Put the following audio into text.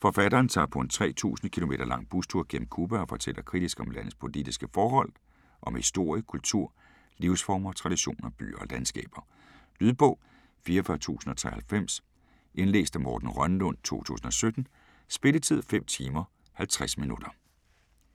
Forfatteren tager på en 3000 km lang bustur gennem Cuba og fortæller kritisk om landets politiske forhold, om historie, kultur, livsformer, traditioner, byer og landskaber. Lydbog 44093 Indlæst af Morten Rønnelund, 2017. Spilletid: 5 timer, 50 minutter.